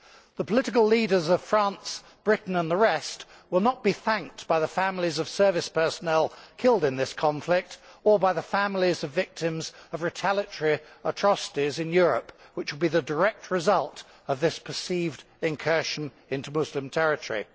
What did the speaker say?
The political leaders of France, Britain and the rest will not be thanked by the families of service personnel killed in this conflict or by the families of victims of retaliatory atrocities in Europe, which will be the direct result of this perceived incursion into Muslim territory.